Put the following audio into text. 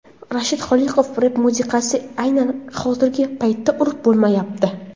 Rashid Xoliqov: Rep musiqalari aynan hozirgi paytda urf bo‘lmayapti.